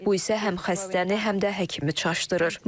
Bu isə həm xəstəni, həm də həkimi çaşdırır.